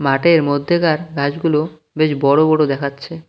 মাঠের মধ্যেকার ঘাসগুলো বেশ বড় বড় দেখাচ্ছে।